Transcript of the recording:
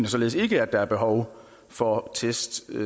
således ikke at der er behov for test